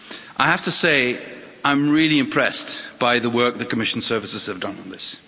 I have to say I'm really impressed by the work the Commission services have done on this.